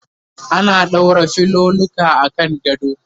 ana ɗaura filoluka akan gado